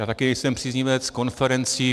Já také nejsem příznivec konferencí.